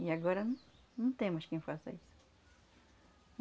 E agora não não tem mais quem faça isso.